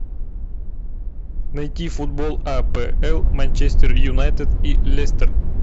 найти футбол апл манчестер юнайтед и лестер